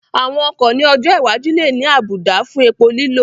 Àwọn ọkọ̀ ní ọjọ́ iwájú lè ní àwọn àbùdá fún epo lílò